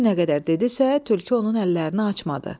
Şir nə qədər dedisə, tülkü onun əllərini açmadı.